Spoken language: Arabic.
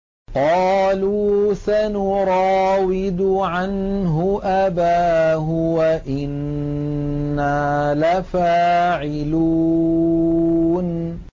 قَالُوا سَنُرَاوِدُ عَنْهُ أَبَاهُ وَإِنَّا لَفَاعِلُونَ